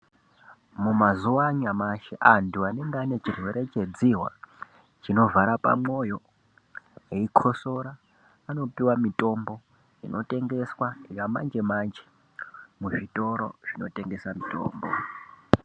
Mumazuwa anyamashi antu anenge ane chirwere chedzihwa chinovhara pamwoyo eikhosora anopiwa mitombo inotengeswa yamanje-manje muzvitoro zvinotengesa mitombo.